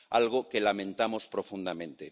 Algo que lamentamos profundamente.